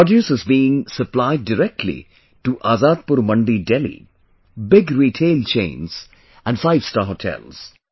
Their produce is being supplied directly to Azadpur Mandi, Delhi, Big Retail Chains and Five Star Hotels